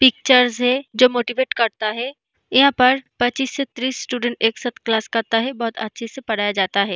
Pictures है जो motivate करता है यहाँ पर पच्चीस से तीस स्टूडेंट एक साथ क्लास करता है बहुत अच्छे से पढ़ाया जाता है।